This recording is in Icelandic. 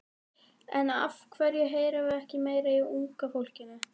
En af hverju heyrum við ekki meira í unga fólkinu?